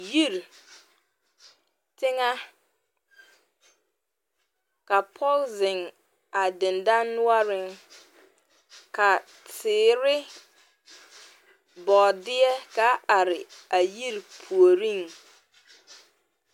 yiri, teŋɛ ka pɔge zeŋɛ a dendɔre noɔreŋ ka teere, bɔɔdɛɛ kaa are a yiri puoriŋ